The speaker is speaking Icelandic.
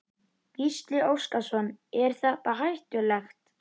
Gísli Óskarsson: Er þetta er hættulegt?